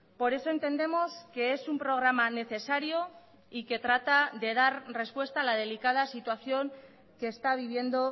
por eso entendemos que es un programa necesario y que trata de dar respuesta a la delicada situación que está viviendo